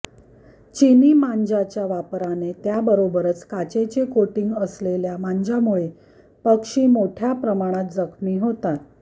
चिनी मांज्याच्या वापराने त्याबरोबरच काचेचे कोटिंग असलेल्या मांज्यामुळे पक्षी मोठय़ा प्रमाणात जखमी होतात